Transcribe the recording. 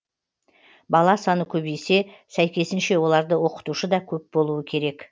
бала саны көбейсе сәйкесінше оларды оқытушы да көп болуы керек